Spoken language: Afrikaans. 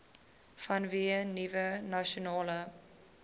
vanweë nuwe nasionale